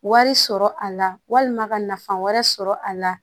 Wari sɔrɔ a la walima ka nafaa wɛrɛ sɔrɔ a la